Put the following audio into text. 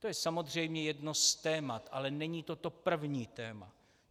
To je samozřejmě jedno z témat, ale není to to první téma.